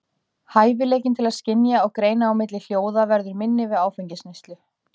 Hæfileikinn til að skynja og greina á milli hljóða verður minni við áfengisneyslu.